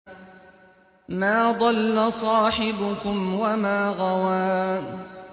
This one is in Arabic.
مَا ضَلَّ صَاحِبُكُمْ وَمَا غَوَىٰ